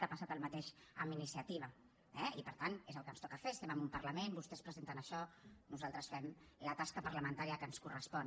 ha passat el mateix amb iniciativa eh i per tant és el que ens toca fer estem en un parlament vostès presenten això nosaltres fem la tasca parlamentària que ens correspon